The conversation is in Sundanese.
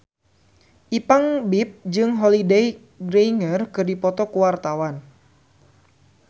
Ipank BIP jeung Holliday Grainger keur dipoto ku wartawan